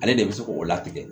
Ale de bɛ se k'o latigɛ